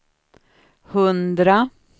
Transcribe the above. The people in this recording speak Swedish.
hundra